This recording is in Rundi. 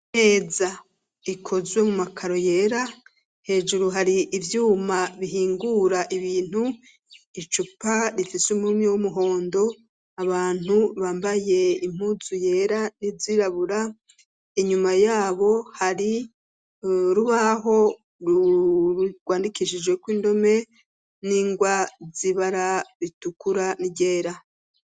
Meza ikozwe mu makaro yera hejuru hari ivyuma bihingura ibintu icupa rifise umurimi w'umuhondo abantu bambaye impuzu yera r'izirabura inyuma yabo hari rubaho rururwandikishije ko indome ningwa zibara ritukura nryera.